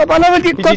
Trabalhava